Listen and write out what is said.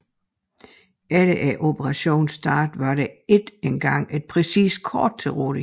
Ved operationens start var der ikke engang et præcist kort til rådighed